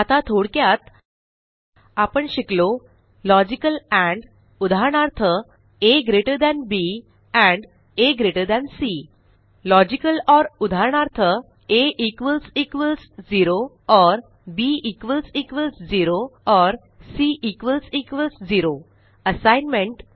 आता थोडक्यात आपण शिकलो लॉजिकल एंड उदाहरणार्थ आ बी आ सी लॉजिकल ओर उदाहरणार्थ आ 0 बी 0 सी 0 असाइनमेंट